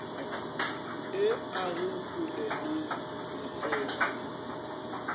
e age kgole le mefefa